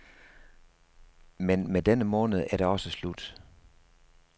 Men med denne måned er det også slut.